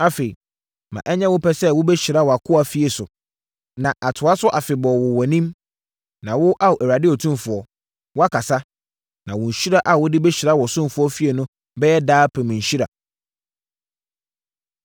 Afei, ma ɛnyɛ wo pɛ sɛ wobɛhyira wʼakoa fie so, na atoa so afebɔɔ wɔ wʼanim, na wo, Ao Awurade Otumfoɔ, woakasa, na wo nhyira a wode bɛhyira wo ɔsomfoɔ fie no bɛyɛ daapem nhyira.”